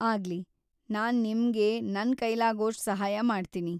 ಆಗ್ಲಿ, ನಾನ್ ನಿಮ್ಗೆ ನನ್ ಕೈಲಾಗೋಷ್ಟು ಸಹಾಯ ಮಾಡ್ತೀನಿ.